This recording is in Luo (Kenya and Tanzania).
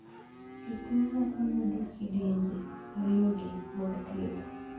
Jotuo moko yudo kidienje ariyogi mag thieth.